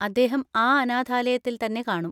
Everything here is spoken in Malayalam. അദ്ദേഹം ആ അനാഥാലയത്തിൽ തന്നെ കാണും.